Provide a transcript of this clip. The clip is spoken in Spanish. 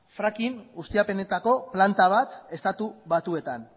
fracking ustiapenetako planta bat estatu batuetan